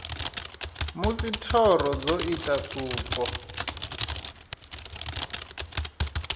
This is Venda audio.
musi thoro dzo ita suko